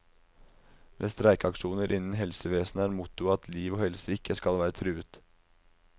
Ved streikeaksjoner innen helsevesenet er mottoet at liv og helse ikke skal være truet.